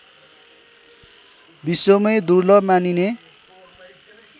विश्वमै दुर्लभ मानिने